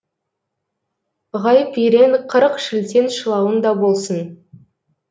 ғайып ерен қырық шілтен шылауың да болсын